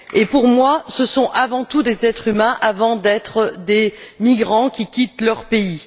Pour moi, ce sont, avant tout, des êtres humains avant d'être des migrants qui quittent leur pays.